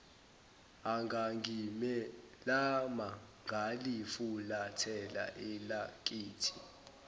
engangimelama ngalifulathela elakithi